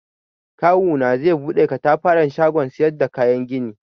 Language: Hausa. Kawuna zai buɗe katafaren shagon siyar da kayan gini.